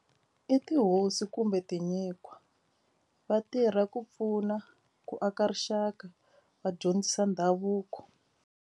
I tihosi kumbe tinyikhwa va tirha ku pfuna ku aka rixaka vadyondzisa ndhavuko.